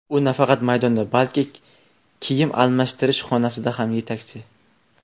U nafaqat maydonda, balki kiyim almashirish xonasida ham yetakchi.